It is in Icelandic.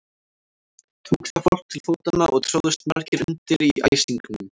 Tók þá fólk til fótanna og tróðust margir undir í æsingnum.